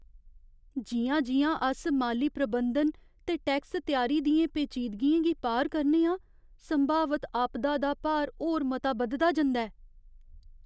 जि'यां जि'यां अस माली प्रबंधन ते टैक्स त्यारी दियें पेचीदगियें गी पार करने आं, संभावत आपदा दा भार होर मता बधदा जंदा ऐ।